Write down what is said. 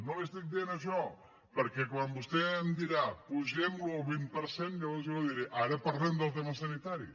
no li estic dient això perquè quan vostè em digui apugem lo un vint per cent llavors jo li diré ara parlem del tema sanitari